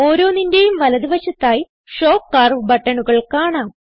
ഓരോന്നിന്റെയും വലത് വശത്തായി ഷോ കർവ് ബട്ടണുകൾ കാണാം